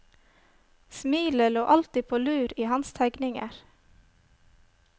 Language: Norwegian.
Smilet lå alltid på lur i hans tegninger.